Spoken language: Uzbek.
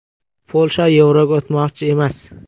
Polsha yevroga o‘tmoqchi emas.